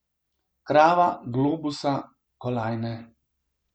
Krava, globusa, kolajne ...